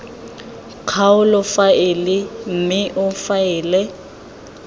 kgaolo faele mme o faele